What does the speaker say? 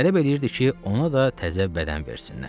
tələb eləyirdi ki, ona da təzə bədən versinlər.